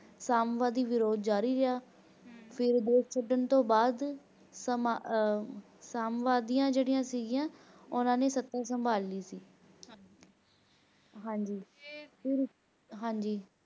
ਸੰਵਾਦੀ ਵਿਰੋਧ ਜਾਰੀ ਹੈ ਫਿਰ ਦੇਸ਼ ਛੱਡਣ ਤੋਂ ਬਾਅਦ ਸੰਵਾਦੀਆਂ ਜਿਹੜੀਆਂ ਸਿਗੀਆਂ ਓਹਨਾ ਨੇ ਸੱਤ ਸੰਭਾਲ ਲਈ ਸੀ